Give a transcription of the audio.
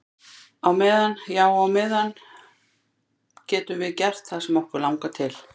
Á meðan, já á meðan á meðan getum við gert það sem okkur langar til.